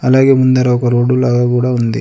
అలాగే ముందర ఒక రోడ్డు లాగా కూడా ఉంది.